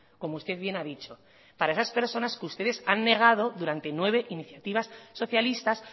como usted bien ha dicho para esas personas que ustedes han negado durante nueve iniciativas socialistas